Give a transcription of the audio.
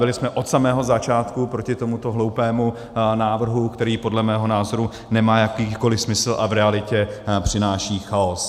Byli jsme od samého začátku proti tomuto hloupému návrhu, který podle mého názoru nemá jakýkoliv smysl a v realitě přináší chaos.